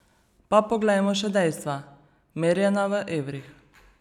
Pa poglejmo še dejstva, merjena v evrih.